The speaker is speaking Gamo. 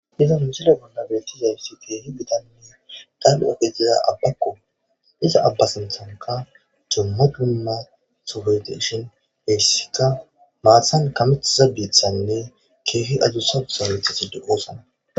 Iza huncila bolna beettizayfsi keehi bitanne dal7 ofetiza abbakko iza abba sinthanka jomma dumma sugeteshin heessika maassan kamethaza biiththanne keehi adusausametha si du oosana.